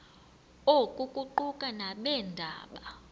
oku kuquka nabeendaba